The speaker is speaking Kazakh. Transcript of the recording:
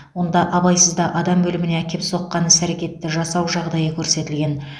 онда абайсызда адам өліміне әкеп соққан іс әрекетті жасау жағдайы көрсетілген